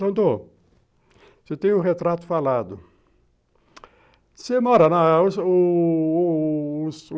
Doutor, você tem o retrato falado.